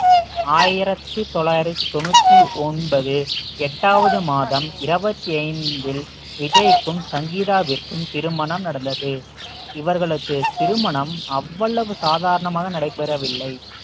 ஆயிரத்தி தொள்ளாயிரத்தி தொண்ணூத்தி ஒன்பது எட்டாவது மாதம் இருபத்தி ஐந்தில் விஜய்க்கும் சங்கீதாவிற்கும் திருமணம் நடந்தது இவர்களுக்கு திருமணம் அவ்வளவு சாதாரணமாக நடைபெறவில்லை